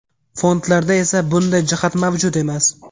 Fondlarda esa bunday jihat mavjud emas.